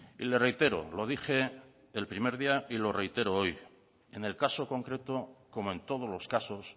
y le reitero lo dije el primer día y le reitero hoy en el caso concreto como en todos los casos